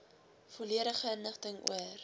volledige inligting oor